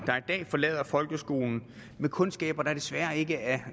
dag forlader folkeskolen med kundskaber der desværre ikke er